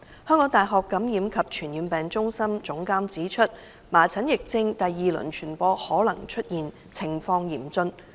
香港大學感染及傳染病中心總監指出，麻疹疫症第二輪傳播可能出現，情況嚴峻。